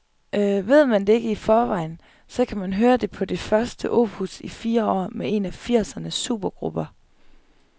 Ved man ikke det i forvejen, så kan man høre det på det første nye opus i fire år med en af firsernes supergrupper.